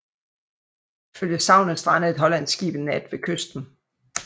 Ifølge sagnet strandede et hollandsk skib en nat ved kysten